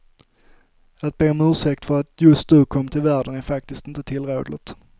Att be om ursäkt för att just du kom till världen är faktiskt inte tillrådligt.